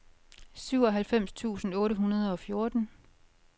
syvoghalvfems tusind otte hundrede og fjorten